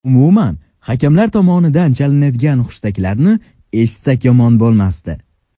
Umuman hakamlar tomonidan chalinadigan hushtaklarni eshitsak yomon bo‘lmasdi.